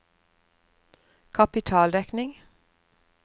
kapitaldekning